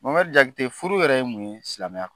Mohamedi JAKITE furu yɛrɛ ye mun ye silamɛya